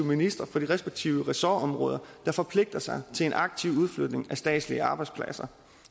ministrene for de respektive ressortområder der forpligter sig til en aktiv udflytning af statslige arbejdspladser